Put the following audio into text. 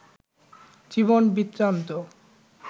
জীবন বৃত্তান্ত